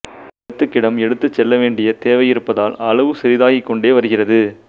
இடத்துக்கிடம் எடுத்துச் செல்லவேண்டிய தேவை இருப்பதால் அளவு சிறிதாகிக்கொண்டே வருகிறது